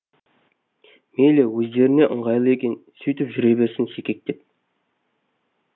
мейлі өздеріне ыңғайлы екен сөйтіп жүре берсін секектеп